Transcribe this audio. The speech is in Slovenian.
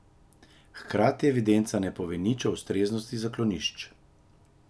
Hkrati evidenca ne pove nič o ustreznosti zaklonišč.